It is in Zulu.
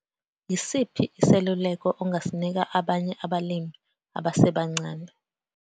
Yisiphi iseluleko ongasinika abanye abalimi abasebancane?